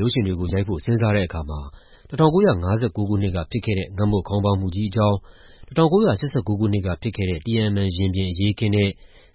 ရုပ်ရှင်တွေကို ရိုက်ဖို့ စဉ်းစားတဲ့အခါမှာ ၁၉၅၉ ခုနှစ်က ဖြစ်ခဲ့တဲ့ ငတ်မွတ်ခေါင်းပါးမှုကြီးအကြောင်း၊ ၁၉၈၉ ခုနှစ်ကဖြစ်ခဲ့တဲ့ တီယန်အန်မန်ရင်ပြင် အရေးအခင်းနဲ့